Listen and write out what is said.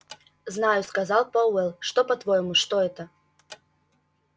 знаю сказал пауэлл что по-твоему что это